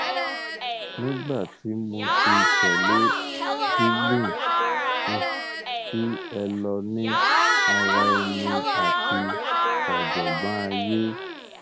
nigba ti mo ti tẹlẹ dealing wih ki elo ni ara ẹni ati ọjọgbọn aye